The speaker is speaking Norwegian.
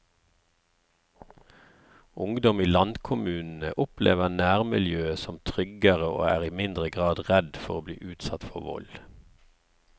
Ungdom i landkommunene opplever nærmiljøet som tryggere og er i mindre grad redd for å bli utsatt for vold.